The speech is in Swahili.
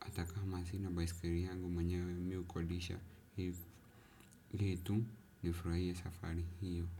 Hata hamasina baisikiri yangu manyewe miu kodisha, hitu nifraie safari hiyo.